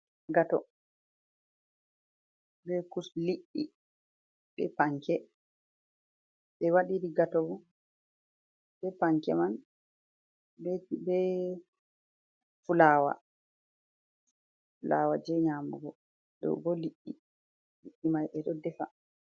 Gato, be kus... liɗɗi, be panke. Ɓe waɗiri gato bo, be panke man, be fulawa. Flawa jei nyamugo. Ɗo bo liɗɗi, liɗɗi mai ɓe ɗo defa.